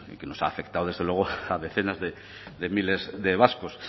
que nos ha afectado a decenas de miles de vascos